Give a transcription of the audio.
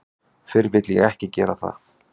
Fyrr vil ég ekki gera það.